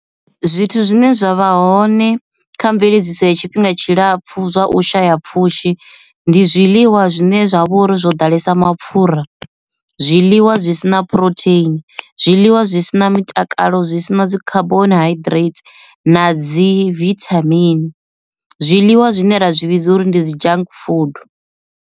Zwithu zwine zwa vha hone kha mveledziso ya tshifhinga tshilapfhu zwa u shaya pfhushi ndi zwiḽiwa zwine zwa vhori zwo ḓalesa mapfhura, zwiḽiwa zwi si na na phurotheini, zwiḽiwa zwi si na mitakalo zwi si na dzi khaboni haiḓireiti na dzi vithamini zwiḽiwa zwine ra zwi vhidza uri ndi dzi junk food.